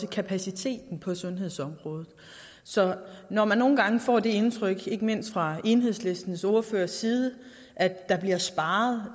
og kapaciteten på sundhedsområdet så når man nogle gange får det indtryk ikke mindst fra enhedslistens ordførers side at der bliver sparet